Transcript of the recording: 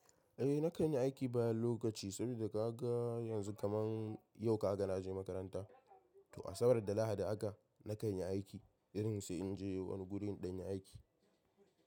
Eh na kan yi aiki bayan lokaci saboda ka ga yanzu kaman yau ka ga na je makaranta. To Asabar da Lahadi haka na kan yi aiki irin su in je wani guri in ɗan yi aiki.